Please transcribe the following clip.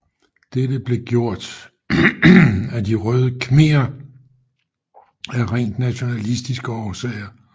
Dette blev gjort af De røde khmerer af rent nationalistiske årsager